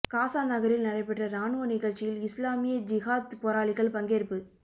காசா நகரில் நடைபெற்ற இராணுவ நிகழ்ச்சியில் இஸ்லாமிய ஜிஹாத் போராளிகள் பங்கேற்பு